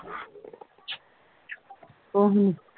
ਕੁਹ ਨਹੀਂ